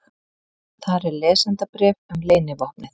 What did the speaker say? Þar er lesendabréf um leynivopnið.